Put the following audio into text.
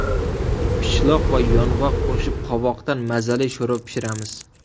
Pishloq va yong‘oq qo‘shib qovoqdan mazali sho‘rva pishiramiz.